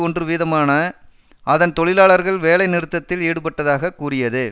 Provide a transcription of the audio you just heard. ஒன்று வீதமான அதன் தொழிலாளர்கள் வேலை நிறுத்தத்தில் ஈடுபட்டதாக கூறியது